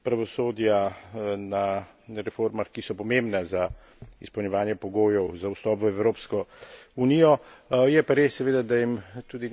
reformah, tudi pravosodja, na reformah, ki so pomembne za izpolnjevanje pogojev za vstop v Evropsko unijo.